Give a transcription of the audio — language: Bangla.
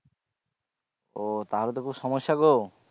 ও তাহলে তো খুব সমস্যা গো